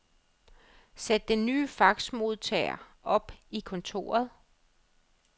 Sæt den nye faxmodtager op i kontoret.